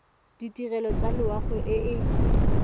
ditirelo tsa loago e e